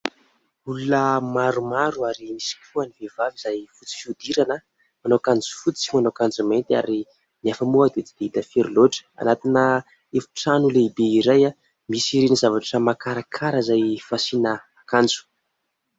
Olona maromaro ary misy koa ny vehivavy izay fotsy fihodirana, manao akanjo fotsy sy manao akanjo mainty nefa moa tsy dia hita firy loatra. Anatina efitrano lehibe iray misy ireny zavatra makarakara izay fasiana akanjo.